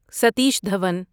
Satish Dhawan